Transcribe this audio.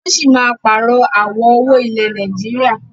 Wọn sì máa pààrọ̀ àwọ̀ owó ilẹ̀ Nàìjíríà.